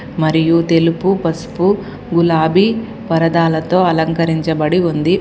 మరియు తెలుపు పసుపు గులాబీ పరదాలతో అలంకరించబడి ఉంది.